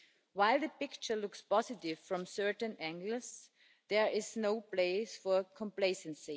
While the picture looks positive from certain angles, there is no place for complacency.